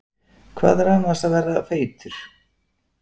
Hvað er annars að vera feitur?